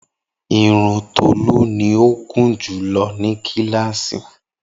Irun Tolu ni o gunjulo ni kilasi.